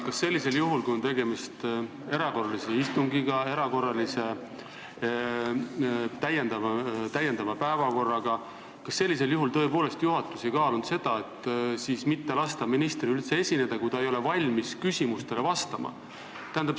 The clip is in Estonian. Kas sellisel juhul, kui on tegemist erakorralise istungiga, täiendava päevakorraga, juhatus tõepoolest ei kaalunud seda, et mitte lasta ministril üldse esineda, kui ta ei ole valmis küsimustele vastama?